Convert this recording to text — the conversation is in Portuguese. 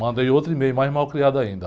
Mandei outro e-mail, mais mal criado ainda.